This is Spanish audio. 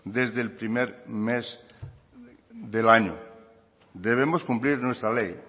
desde el primer mes del año debemos cumplir nuestra ley